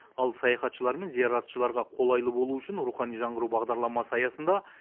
ал саяхатшылар мен зияратшыларға қолайлы болу үшін рухани жаңғыру бағдарламасы аясында